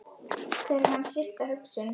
Hver er hans fyrsta hugsun?